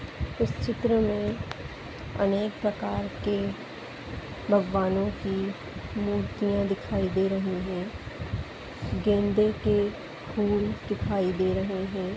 इस चित्र में अनेक प्रकार के भगवानों की मूर्तिया दिखाई दे रही है गेंदे के फुल दिखाई दे रहे है।